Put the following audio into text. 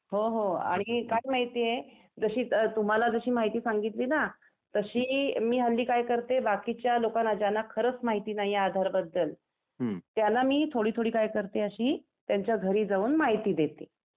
हो हो.. आणि काय माहिती आहे, जशी तुम्हाला जशी माहिती सांगितली ना तशी मी हल्ली काय करते बाकीच्या लोकांना ज्यांना खरंच माहिती नाही आहे आधार बद्दल त्याला मी थोडी थोडी काय करते अशी त्यांच्या घरी जाऊन माहिती देते.